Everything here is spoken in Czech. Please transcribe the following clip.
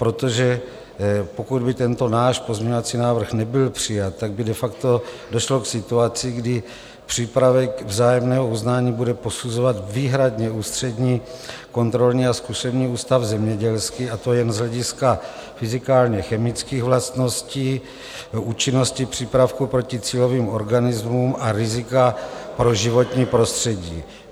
Protože pokud by tento náš pozměňovací návrh nebyl přijat, tak by de facto došlo k situaci, kdy přípravek vzájemného uznání bude posuzovat výhradně Ústřední kontrolní a zkušební ústav zemědělský, a to jen z hlediska fyzikálně-chemických vlastností účinnosti přípravku proti cílovým organismům a rizika pro životní prostředí.